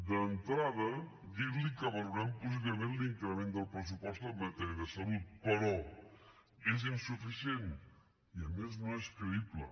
d’entrada dir li que valorem positivament l’increment del pressupost en matèria de salut però és insuficient i a més no és creïble